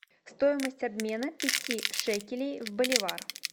стоимость обмена пяти шекелей в боливар